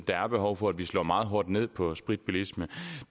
der er behov for at vi slår meget hårdt ned på spritbilisme